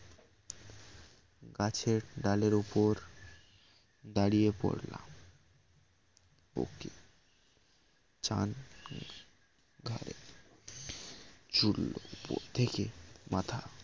গাছের ডালের উপর দাড়িয়ে পড়লো চান ঘাড়ে চরল উপর থেকে মাথা